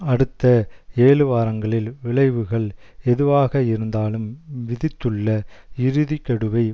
அடுத்த ஏழு வாரங்களில் விளைவுகள் எதுவாகயிருந்தாலும் விதித்துள்ள இறுதி கெடுவை